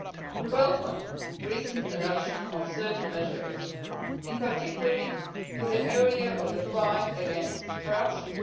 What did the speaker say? We welcome the recent adoption of certain measures, in particular in the area of the fight against corruption.